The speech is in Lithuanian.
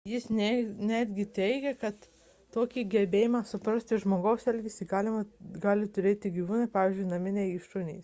jis netgi teigia kad tokį gebėjimą suprasti žmogaus elgesį gali turėti ir gyvūnai pavyzdžiui naminiai šunys